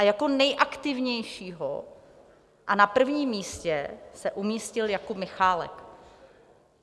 A jako nejaktivnější a na prvním místě se umístil Jakub Michálek.